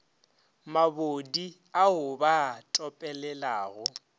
mabodi ao ba a topelelago